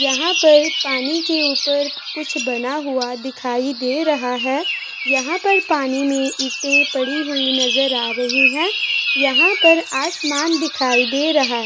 यहां पर पानी के ऊपर कुछ बना हुआ दिखाई दे रहा है। यहां पर पानी में ईटे पड़ी हुई नजर आ रही है। यहां पर आसमान दिखाई दे रहा है।